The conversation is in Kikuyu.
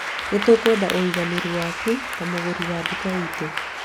Nĩ tũkwenda ũiganĩre waku ta mũgũri wa nduka itũ